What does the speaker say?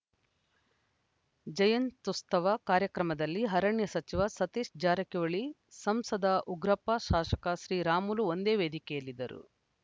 ಜಯಂತ್ಯುತ್ಸವ ಕಾರ್ಯಕ್ರಮದಲ್ಲಿ ಅರಣ್ಯ ಸಚಿವ ಸತೀಶ ಜಾರಕಿಹೊಳಿ ಸಂಸದ ಉಗ್ರಪ್ಪ ಶಾಸಕ ಶ್ರೀರಾಮುಲು ಒಂದೇ ವೇದಿಕೆಯಲ್ಲಿದ್ದರು